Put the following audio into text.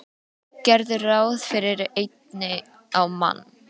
Gerðu ráð fyrir einni á mann.